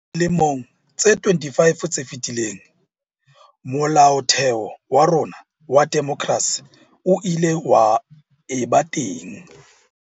Dilemong tse 25 tse fetileng, Molaotheo wa rona wa demokrasi o ile wa eba teng.